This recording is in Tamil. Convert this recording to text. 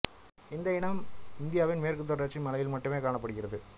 இந்த இனம் இந்தியாவின் மேற்குத் தொடர்ச்சி மலையில் மட்டுமே காணப்படுகிறது